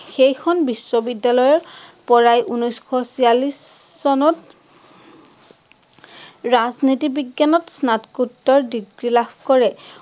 সেইখন বিশ্ববিদ্যালয়ৰ পৰাই উনৈচশ চিয়াল্লিশ চনত ৰাজনীতি বিজ্ঞানত স্নাতকোত্তৰ degree লাভ কৰে,